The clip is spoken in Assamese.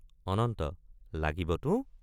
অনঙ্গ—লাগিবতো।